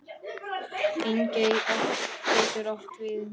Engey getur átt við um